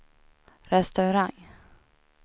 restaurang